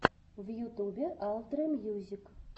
в ютубе алтрэ мьюзик